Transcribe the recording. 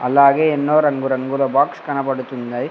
అలాగే ఎన్నో రంగురంగుల బాక్స్ కనబడుతున్నాయ్.